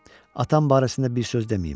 Atam barəsində bir söz deməyim.